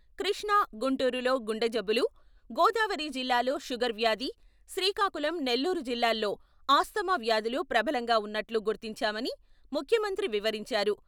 కృష్ణా, గుంటూరులో గుండె జబ్బులు, గోదావరి జిల్లాల్లో షుగర్ వ్యాధి, శ్రీకాకుళం, నెల్లూరు జిల్లాల్లో ఆస్తమా వ్యాధులు ప్రబలంగా ఉన్నట్లు గుర్తించామని ముఖ్యమంత్రి వివరించారు.